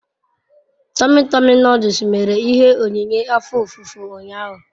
Tomi Tomi noduls mere ihe onyinye afo ofufo unyahu